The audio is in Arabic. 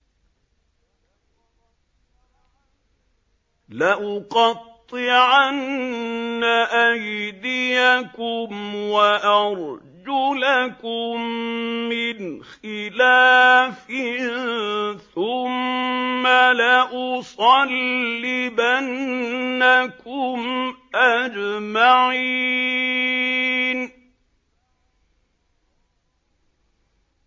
لَأُقَطِّعَنَّ أَيْدِيَكُمْ وَأَرْجُلَكُم مِّنْ خِلَافٍ ثُمَّ لَأُصَلِّبَنَّكُمْ أَجْمَعِينَ